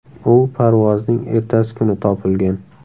U parvozning ertasi kuni topilgan.